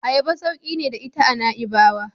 Ayaba sauki ne da ita a Na'ibawa.